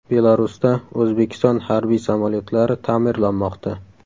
Belarusda O‘zbekiston harbiy samolyotlari ta’mirlanmoqda.